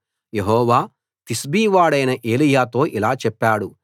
యెహోవా తిష్బీ వాడైన ఏలీయాతో ఇలా చెప్పాడు